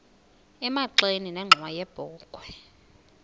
emagxeni nenxhowa yebokhwe